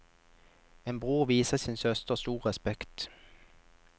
En bror viser sin søster stor respekt.